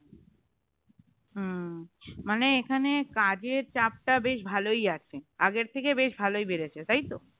হুম মানে এখানে কাজের চাপটা বেশ ভালই আছে আগের থেকে বেশ ভালোই বেড়েছে তাই তো